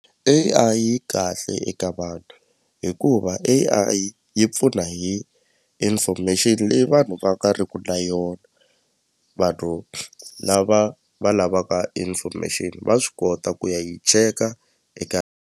A_I yi kahle eka vanhu hikuva A_I yi pfuna hi information leyi vanhu va nga ri ku na yona vanhu lava va lavaka information va swi kota ku ya yi cheka eka.